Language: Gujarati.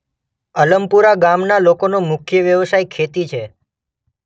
અલમપુરા ગામના લોકોનો મુખ્ય વ્યવસાય ખેતી છે.